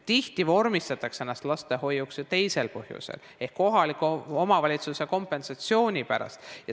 Tihti vormistatakse ennast lastehoiuks ju teisel põhjusel ehk kohaliku omavalitsuse kompensatsiooni pärast.